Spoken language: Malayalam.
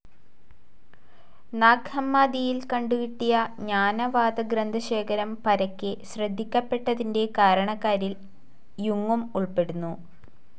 നാഗ്‌ ഹമ്മാദിയിൽ കണ്ടു കിട്ടിയ ജ്ഞാനവാദ ഗ്രന്ഥശേഖരം പരക്കെ ശ്രദ്ധിക്കപ്പെട്ടതിന്റെ കാരണക്കാരിൽ യുങ്ങും ഉൾപ്പെടുന്നു.